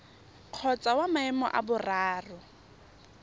kgotsa wa maemo a boraro